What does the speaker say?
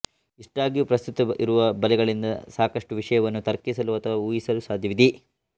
ಇಷ್ಟಾಗಿಯೂ ಪ್ರಸ್ತುತ ಇರುವ ಬಲೆಗಳಿಂದ ಸಾಕಷ್ಟು ವಿಷಯವನ್ನು ತರ್ಕಿಸಲು ಅಥವಾ ಊಹಿಸಲು ಸಾಧ್ಯವಿದೆ